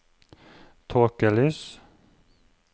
tåkelys